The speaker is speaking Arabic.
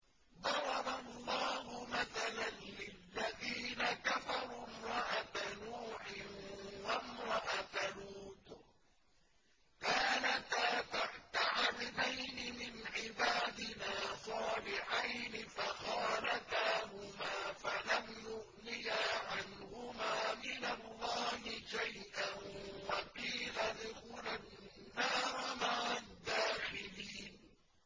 ضَرَبَ اللَّهُ مَثَلًا لِّلَّذِينَ كَفَرُوا امْرَأَتَ نُوحٍ وَامْرَأَتَ لُوطٍ ۖ كَانَتَا تَحْتَ عَبْدَيْنِ مِنْ عِبَادِنَا صَالِحَيْنِ فَخَانَتَاهُمَا فَلَمْ يُغْنِيَا عَنْهُمَا مِنَ اللَّهِ شَيْئًا وَقِيلَ ادْخُلَا النَّارَ مَعَ الدَّاخِلِينَ